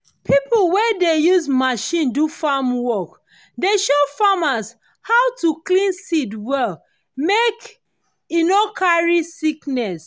pipo wey de use machine do farm work dey show farmers how to clean seed well mek e no carry sickness.